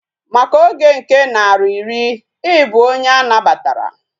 Maka Oge nke nari iri, ibu onye anabatara